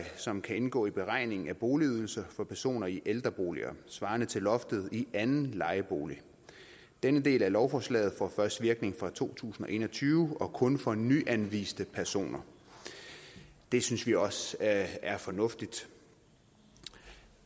som kan indgå i beregningen af boligydelse for personer i ældreboliger svarende til loftet i anden lejebolig denne del af lovforslaget får først virkning fra to tusind og en og tyve og kun for nyanviste personer det synes vi også er fornuftigt